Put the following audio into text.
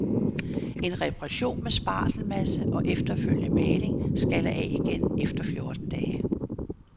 En reparation med spartelmasse og efterfølgende maling skaller af igen efter fjorten dage.